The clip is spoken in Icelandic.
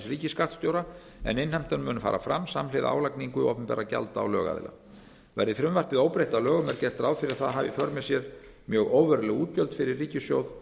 ríkisskattstjóra en innheimtan mun fara fram samhliða álagningu opinberra gjalda á lögaðila verði frumvarpið óbreytt að lögum er gert ráð fyrir að það hafi í för með sér mjög óveruleg útgjöld fyrir ríkissjóð